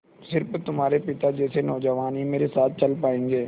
स़िर्फ तुम्हारे पिता जैसे नौजवान ही मेरे साथ चल पायेंगे